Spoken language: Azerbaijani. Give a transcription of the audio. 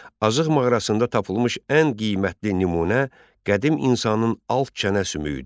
Azıq mağarasında tapılmış ən qiymətli nümunə qədim insanın alt çənə sümüyüdü.